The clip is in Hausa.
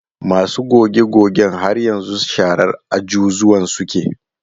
Masu goge-gogen har yanzu sharar ajujuwan suke.